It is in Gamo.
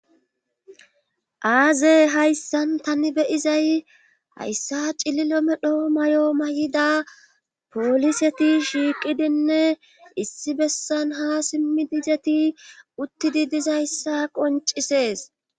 aaze hayssan tani beyizay hayssa cililo medho mayo mayida pooliseti shiiqidinne issi bessan ha simmif izeti uttidi dizayssa qoncisees